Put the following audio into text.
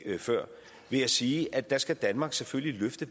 før ved at sige at der skal danmark selvfølgelig løfte